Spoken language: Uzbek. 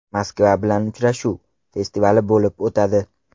Moskva bilan uchrashuv” festivali bo‘lib o‘tadi.